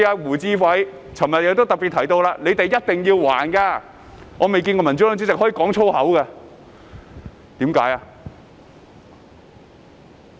胡志偉議員昨日說"你們一定要還的"，我未見過民主黨主席可以粗言穢語的，為甚麼？